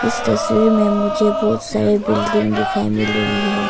इस तस्वीर में मुझे बहुत सारे बिल्डिंग दिखाई मिल रही है।